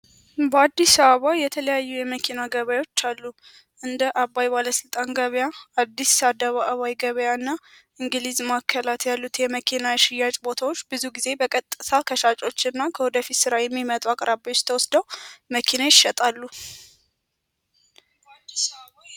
በአዲስ አበባ የተለያዩ የመኪና ገባዮች አሉ። እንደ አባይ ባለሥልጣን ገበያ አዲስ ሳደባይ ገባያ እና እንግሊዝ ማከላት ያሉት የመኪና ሽያጭ ቦታዎች ብዙ ጊዜ በቀጥሳ ከሻጮች እና ከወደፊት ሥራ የሚመጡ አቅራብዎች ተወስደው መኪና ይሸጣሉ።